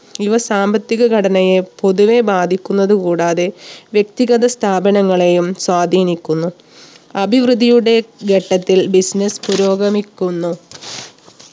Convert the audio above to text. ഇവ സാമ്പത്തിക ഘടനയെ പൊതുവെ ബാധിക്കുന്നത് കൂടാതെ വ്യക്തിഗത സ്ഥാപനങ്ങളെയും സ്വാധീനിക്കുന്നു. അഭിവൃദ്ധിയുടെ ഘട്ടത്തിൽ business പുരോഗമിക്കുന്നു